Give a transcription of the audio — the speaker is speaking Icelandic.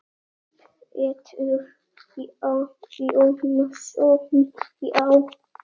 Pétur Jónsson Já.